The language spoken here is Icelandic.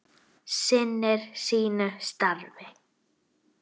Sinnir sínu starfi.